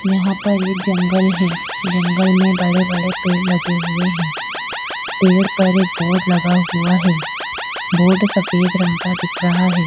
यहाँ पर एक जंगल है जंगल में बड़े-बड़े पेड़ लगे हुए हैं पेड़ पर एक बोर्ड लगा हुआ है बोर्ड सफेद रंग का दिख रहा है।